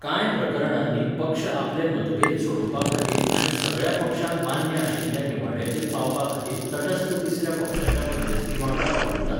कांय प्रकरणांनी पक्ष आपले मतभेद सोडोवपाखातीर आनी सगळ्या पक्षांक मान्य आशिल्ल्या निवाड्याचेर पावपाखातीर तटस्थ तिसऱ्या पक्षाच्या मध्यस्थीवांगडा वावुरतात.